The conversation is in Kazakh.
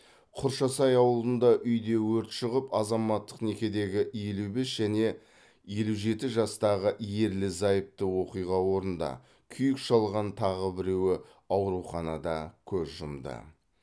құршасай ауылында үйде өрт шығып азаматтық некедегі елу бес және елу жеті жастағы ерлі зайыпты оқиға орнында күйік шалған тағы біреуі ауруханада көз жұмды